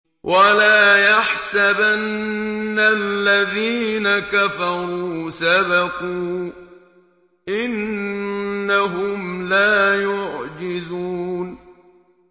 وَلَا يَحْسَبَنَّ الَّذِينَ كَفَرُوا سَبَقُوا ۚ إِنَّهُمْ لَا يُعْجِزُونَ